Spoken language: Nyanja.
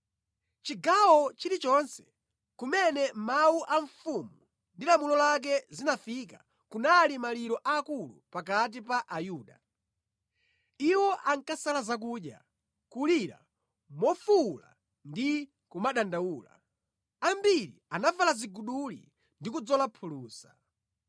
Chigawo chilichonse kumene mawu a mfumu ndi lamulo lake zinafika, kunali maliro akulu pakati pa Ayuda. Iwo ankasala zakudya, kulira mofuwula ndi kumadandaula. Ambiri anavala ziguduli ndi kudzola phulusa.